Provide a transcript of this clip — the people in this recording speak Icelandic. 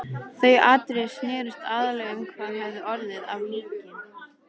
Þau atriði snerust aðallega um hvað hefði orðið af líki